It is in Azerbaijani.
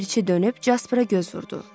Ləpərçi dönüb Caspara göz vurdu.